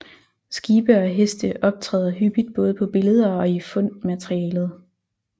Skibe og heste optræder hyppigt både på billeder og i fundmaterialet